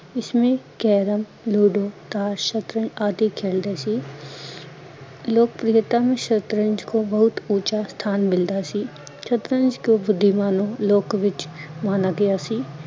ਇਸਮੇ carom ludo ਤਾਸ਼ ਆਦਿ ਖੇਲਤੇ ਸੀ ਲੋਕਪ੍ਰਿਯਤਾਂ ਨੇ ਸ਼ਰਤਜ ਕੋ ਬਹੁਤ ਊਚਾ ਸਥਾਨ ਮਿਲਤਾ ਸੀ, ਸ਼ਤਰਜ ਕੋ ਬੁੱਧੀਮਾਨ ਲੋਕੋ ਵੀਚ ਮਾਨਾ ਗਿਆ ਸੀ